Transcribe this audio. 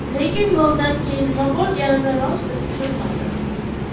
Lekin goldan keyin nima bo‘lganini rosti tushunmadim.